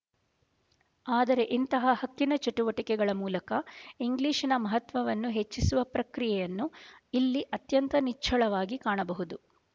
ಆದರೆ ಇಂತಹ ಹಕ್ಕಿನ ಚಟುವಟಿಕೆಗಳ ಮೂಲಕ ಇಂಗ್ಲಿಶಿನ ಮಹತ್ವವನ್ನು ಹೆಚ್ಚಿಸುವ ಪ್ರಕ್ರಿಯೆಯನ್ನು ಇಲ್ಲಿ ಅತ್ಯಂತ ನಿಚ್ಚಳವಾಗಿ ಕಾಣಬಹುದು